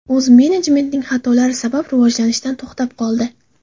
o‘z menejmentining xatolari sabab rivojlanishdan to‘xtab qoldi.